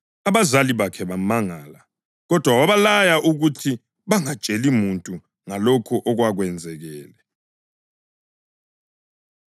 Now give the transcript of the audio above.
Abazali bakhe bamangala, kodwa wabalaya ukuthi bangatsheli muntu ngalokho okwakwenzakele.